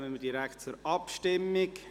Dann kommen wir direkt zur Abstimmung.